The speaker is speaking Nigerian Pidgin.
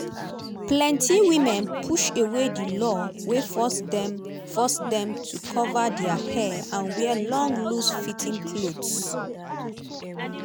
plenti women push away di law wey force dem force dem to cover dia hair and wear long loose-fitting clothes.